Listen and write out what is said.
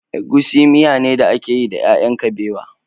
Egusi miyane da ake yi da ƴaƴan kabewa.